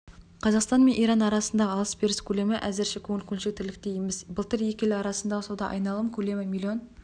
қазақстан мен иран арасындағы алыс-беріс көлемі әзірше көңіл-көншітерліктей емес былтыр екі ел арасындағы сауда-айналым көлемі миллион